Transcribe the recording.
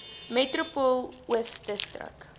metropool oos distrik